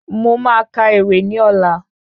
Mo máa ka ewì ní ọlá